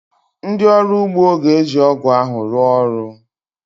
Ndị ọrụ ugbo ga-eji ọ́gụ̀ ahụ rụọ ọrụ